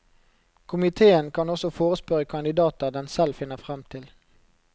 Komitèen kan også forespørre kandidater den selv finner fram til.